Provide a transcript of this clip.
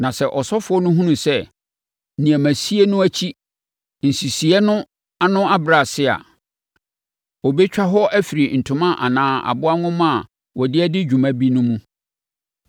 Na sɛ ɔsɔfoɔ no hunu sɛ nneɛmasie no akyi, nsisiiɛ no ano abrɛ ase a, ɔbɛtwa hɔ afiri ntoma anaa aboa nhoma a wɔde adi dwuma bi no mu.